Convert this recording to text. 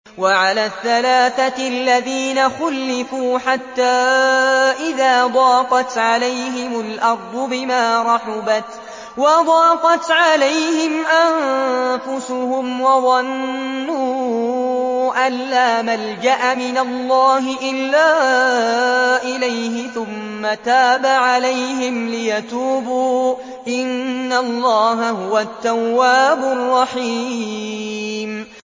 وَعَلَى الثَّلَاثَةِ الَّذِينَ خُلِّفُوا حَتَّىٰ إِذَا ضَاقَتْ عَلَيْهِمُ الْأَرْضُ بِمَا رَحُبَتْ وَضَاقَتْ عَلَيْهِمْ أَنفُسُهُمْ وَظَنُّوا أَن لَّا مَلْجَأَ مِنَ اللَّهِ إِلَّا إِلَيْهِ ثُمَّ تَابَ عَلَيْهِمْ لِيَتُوبُوا ۚ إِنَّ اللَّهَ هُوَ التَّوَّابُ الرَّحِيمُ